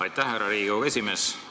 Aitäh, härra Riigikogu esimees!